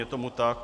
Je tomu tak.